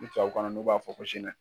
Ni tubabukan na n'u b'a fɔ ko